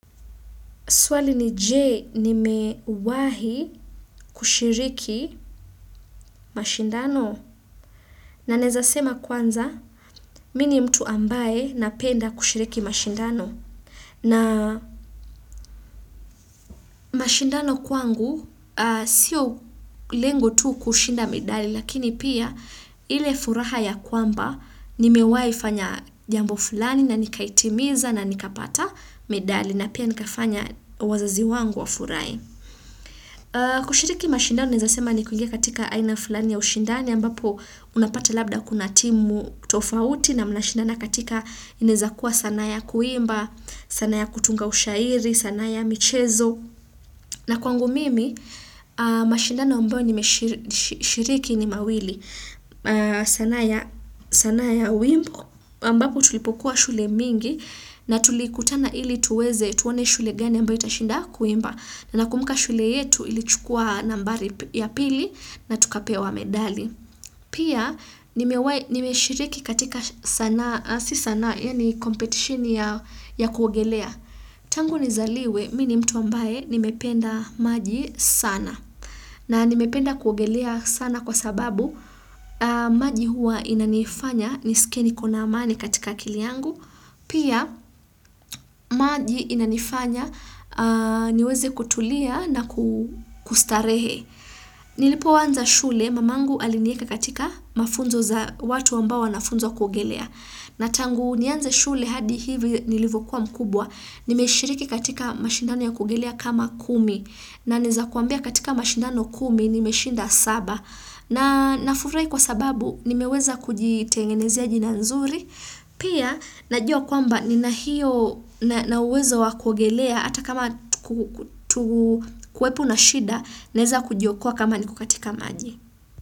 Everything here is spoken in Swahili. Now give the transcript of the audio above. Swali ni je nimewahi kushiriki mashindano na naeza sema kwanza mimi ni mtu ambaye napenda kushiriki mashindano. Na mashindano kwangu sio lengo tu kushinda medali lakini pia ile furaha ya kwamba nimewahi fanya jambo fulani na nikaitimiza na nikapata medali na pia nikafanya wazazi wangu wafurahi. Kushiriki mashindano naeza sema ni kuingia katika aina fulani ya ushindani ambapo unapata labda kuna timu tofauti na mnashindana katika inaezakuwa sanaa ya kuimba sanaa ya kutunga ushairi, sanaa ya michezo na kwangu mimi, mashindano ambayo nimeshiriki ni mawili sanaa ya wimbo ambapo tulipokuwa shule mingi na tulikutana ili tuweze tuone shule gani ambayo itashinda kuimba na nakumbuka shule yetu ilichukua nambari ya pili na tukapewa medali. Pia nimeshiriki katika sanaa, si sanaa yaani competition ya kuogelea. Tangu nizaliwe mimi ni mtu ambaye nimependa maji sana. Na nimependa kuogelea sana kwa sababu, maji huwa inanifanya nisikie niko na amani katika akili yangu, pia maji inanifanya niweze kutulia na kustarehe. Nilipoanza shule, mamangu alinieka katika mafunzo za watu ambao wanafunzwa kuogelea. Na tangu nianze shule hadi hivi nilivyokuwa mkubwa nimeshiriki katika mashindano ya kuogelea kama kumi na naeza kuambia katika mashindano kumi nimeshinda saba na nafurahi kwa sababu nimeweza kujitengenezia jina nzuri pia najua kwamba nina hio na uwezo wa kuogelea hata kama kuwepo na shida naweza kujiokoa kama niko katika maji.